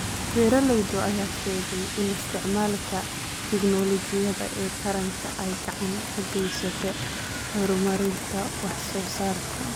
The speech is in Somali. Beeralayda ayaa sheegay in isticmaalka tignoolajiyada ee taranka ay gacan ka geysato horumarinta wax soo saarka.